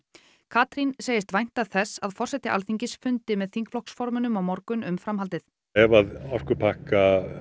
Katrín segist vænta þess að forseti Alþingis fundi með þingflokksformönnum á morgun um framhaldið ef